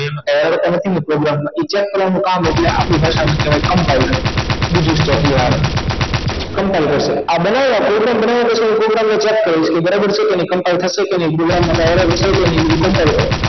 હવે તમે કીધું program check કરવાનું કામ ઍટલે આપણી ભાષા માં કહેવાય compiler બીજું ચોથું આવે compiler આ બનાવ્યા કોઈ પણ program ને check કરવાનું બરાબર છે કે નહિ combine થશે કે નહિ program માં કાઇ error છે કે નહિ એ બધૂ compine કરે